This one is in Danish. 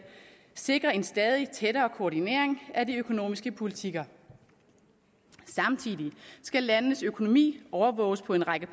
sikre en stadig tættere koordinering af de økonomiske politikker samtidig skal landenes økonomi overvåges på en række